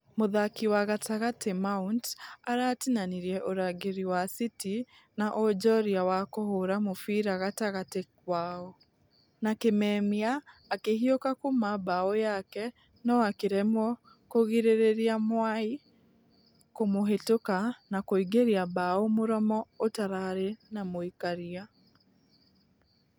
Mũthaki wa gatagatĩ mount aratinanirie ũrangĩri wa city na ũnjorua wa kũhũra mũbĩra gatagatĩ wao. Na kĩmemia akĩhiuka kuuma bao yake nũ akĩremwo kũgirereria mwai kũmũhĩtũka na kũingĩria bao mũromo ũtararĩ na mũikaria.